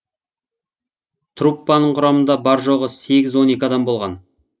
труппаның құрамында бар жоғы сегіз он екі адам болған